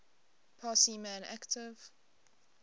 parsi man active